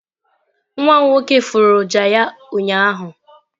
nwam nwoke furu ọjà ya ụnyahụ.